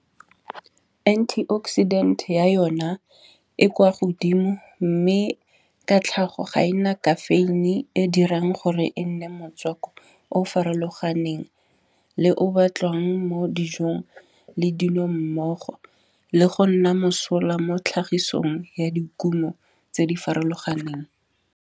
Anti oxidant ya yona e kwa godimo, mme ka tlhago ga e na caffeine e dirang gore e nne motswako o farologaneng. Le o o batliwang mo dijong le dino mmogo, le go nna mosola mo tlhagisong ya dikumo tse di farologaneng.